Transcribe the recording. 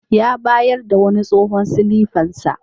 Ya bayar da wani tsohon silifan sa.